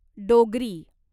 Dogri